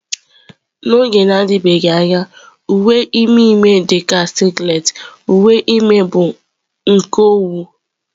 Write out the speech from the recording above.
N'oge na-adịbeghị anya, uwe ime ime dị ka singlet, uwe ime bụ nke owu.